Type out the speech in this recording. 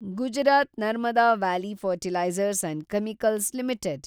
Gujarat Narmada valley fertilizers and chemicals limited